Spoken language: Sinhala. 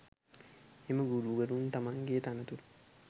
එම ගුරුවරුන් තමන්ගේ තනතුර